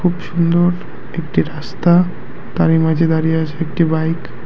খুব সুন্দর একটি রাস্তা তারই মাঝে দাঁড়িয়ে আছে একটি বাইক ।